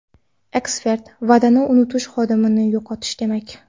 Ekspert: Va’dani unutish xodimni yo‘qotish demak.